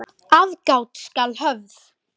Aðgát skal höfð.